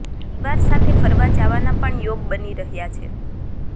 પરિવાર સાથે ફરવા જવાના પણ યોગ બની રહ્યા છે